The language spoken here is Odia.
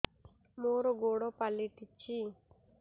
ମୋର ଗୋଡ଼ ପାଲଟିଛି